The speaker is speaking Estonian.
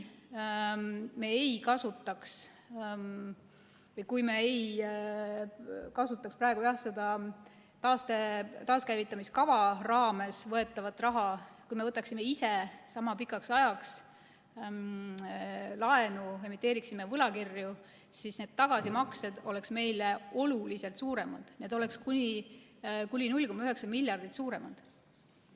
Kui me ei kasutaks praegu seda taaskäivitamiskava raames võetavat raha, kui me võtaksime ise sama pikaks ajaks laenu, emiteeriksime võlakirju, siis need tagasimaksed oleksid meile oluliselt suuremad, need oleksid kuni 0,9 miljardit suuremad.